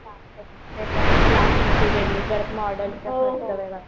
ते तर आहेच क्लास ची फी वेगळी परत चा क्लास वेगळा करा.